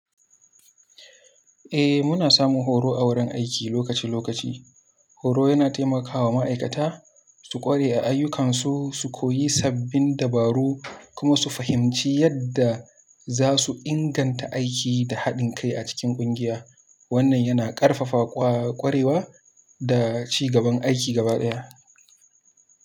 Muna samun horo a wurin aiki lokaci-lokaci. Horo yana taimakawa ma'aikata su ƙware a ayyukansu, su koyi sabbin dabaru kuma su fahimci yadda za su inganta aiki da haɗin kai a cikin ƙungiya. Wannan yana ƙarfafa ƙwarewa da ci gaban aiki gabaɗaya.